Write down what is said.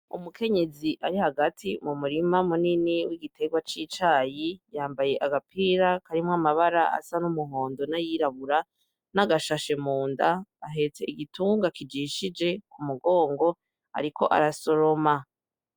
Umukenyezi ari hagati mu murima munini w'igiterwa c'icayi, yambaye agapira karimwo amabara asa n'umuhondo n'ayirabura n'agashashe munda, ahetse igitunga kijishije ku mugongo, ariko arasoroma.